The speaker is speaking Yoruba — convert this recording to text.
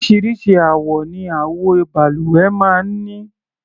Oríṣiríṣi àwọ ni àwo-balùwẹ̀ máa ń ní.